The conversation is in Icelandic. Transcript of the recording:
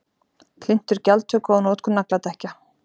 Hlynntur gjaldtöku á notkun nagladekkja